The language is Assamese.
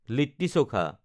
লিট্টি চখা